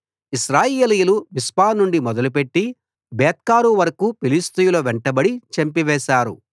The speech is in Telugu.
ఇశ్రాయేలీయులు మిస్పా నుండి మొదలుపెట్టి బేత్కారు వరకూ ఫిలిష్తీయుల వెంటబడి చంపివేశారు